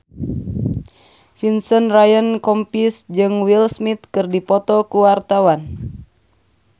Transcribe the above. Vincent Ryan Rompies jeung Will Smith keur dipoto ku wartawan